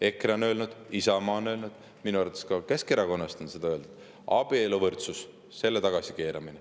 EKRE on öelnud, Isamaa on öelnud, minu arvates ka Keskerakonnast on seda öeldud: abieluvõrdsus, selle tagasikeeramine.